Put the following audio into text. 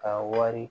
Ka wari